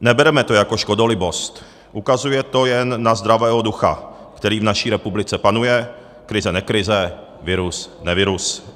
Nebereme to jako škodolibost, ukazuje to jen na zdravého ducha, který v naší republice panuje, krize-nekrize, virus -nevirus.